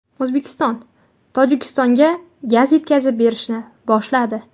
O‘zbekiston Tojikistonga gaz yetkazib berishni boshladi.